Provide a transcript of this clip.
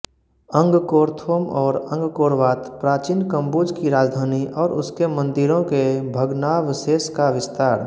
Angkor Thom और Angkor Wat प्राचीन कंबुज की राजधानी और उसके मन्दिरों के भग्नावशेष का विस्तार